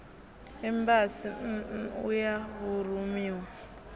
embasi nn u ya vhurumiwa